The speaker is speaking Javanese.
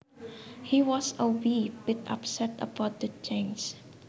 He was a wee bit upset about the changes